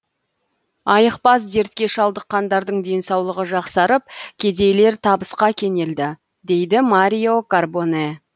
айықпас дертке шалдыққандардың денсаулығы жақсарып кедейлер табысқа кенелді дейді марио карбоне